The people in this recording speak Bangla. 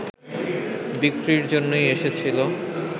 বিক্রির জন্যই এসেছিল